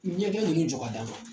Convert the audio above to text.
Ɲɛgɛn ninnu jɔ ka d'an ma